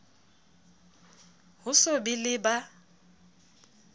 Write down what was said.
ho so be le ba